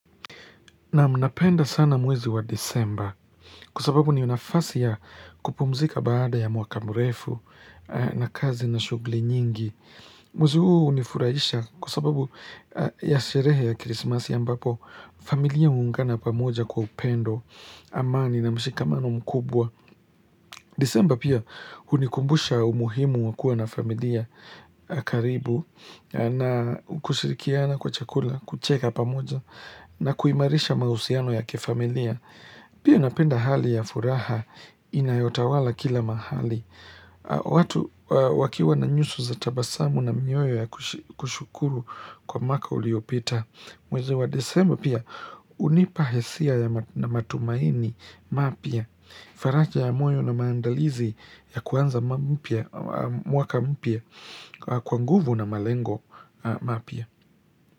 Naam napenda sana mwezi wa disemba, kwa sababu ni nafasi ya kupumzika baada ya mwaka mrefu na kazi na shughuli nyingi. Mwezi huu unifuraisha kwa sababu ya sherehe ya krisimasi ambapo, familia huungana pamoja kwa upendo, amani na mshikamano mkubwa. Disemba pia hunikumbusha umuhimu wa kuwa na familia karibu na kushirikiana kwa chakula, kucheka pamoja na kuimarisha mahusiano ya kifamilia. Pia napenda hali ya furaha inayotawala kila mahali. Watu wakiwa na nyuso za tabasamu na mioyo ya kushukuru kwa mwaka uliopita. Mwezi wa disemba pia, hunipa hisia ya matumaini mapya, faraja ya moyo na maandalizi ya kuanza mwaka mpya kwa nguvu na malengo mapya.